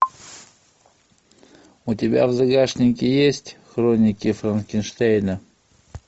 у тебя в загашнике есть хроники франкенштейна